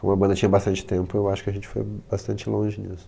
Como a banda tinha bastante tempo, eu acho que a gente foi bastante longe nisso.